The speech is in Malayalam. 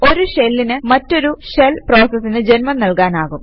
ഒരു ഷെല്ലിന് മറ്റൊരു ഷെല് പ്രോസസിന് ജന്മം നൽകാനാകും